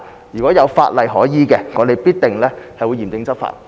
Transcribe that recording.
如果有法例可依，我們必定會嚴正執法。